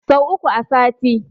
Sau uku a sati.